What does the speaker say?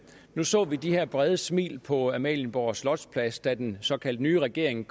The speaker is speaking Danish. vi så de her brede smil på amalienborg slotsplads da den såkaldt nye regering